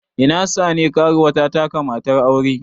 Ina sane, karuwa ta taka matar aure.